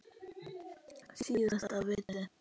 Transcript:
Síðasta vitnið.